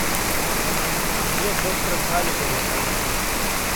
кабинет доктора калигари айч ди